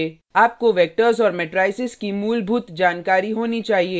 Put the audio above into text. आपको vectors और matrices की मूलभूत जानकारी होनी चाहिए